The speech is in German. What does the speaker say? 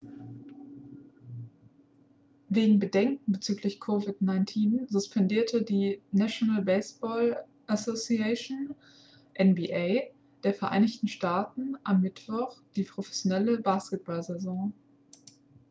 wegen bedenken bezüglich covid-19 suspendierte die national basketball association nba der vereinigten staaten am mittwoch die professionelle basketball-saison